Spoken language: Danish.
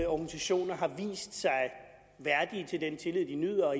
organisationerne har vist sig værdige til den tillid de nyder